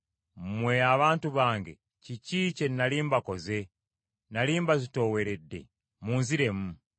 “Mmwe abantu bange kiki kye nnali mbakoze? Nnali mbazitooweredde? Munziremu.